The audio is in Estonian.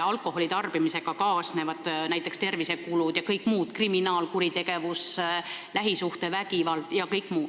Alkoholi tarbimisega kaasnevad näiteks tervisekulud ja kõik muu, näiteks kriminaalkuritegevus, lähisuhtevägivald.